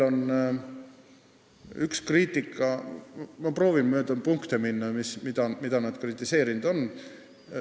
Ma proovin minna mööda neid punkte, mida nad kritiseerinud on.